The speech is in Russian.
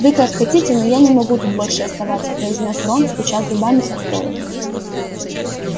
вы как хотите но я не могу тут больше оставаться произнёс рон стуча зубами от холода